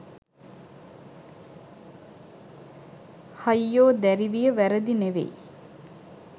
හයියෝ දැරිවිය වැරදි නෙවෙයි.